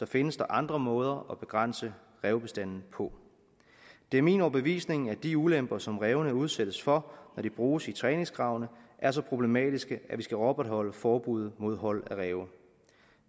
findes der andre måder at begrænse rævebestanden på det er min overbevisning at de ulemper som rævene udsættes for når de bruges i træningsgravene er så problematiske at vi skal opretholde forbuddet mod hold af ræve